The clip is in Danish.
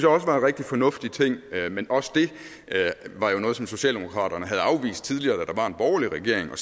også var en rigtig fornuftig ting men også dét var jo noget socialdemokraterne havde afvist tidligere da der var en borgerlig regering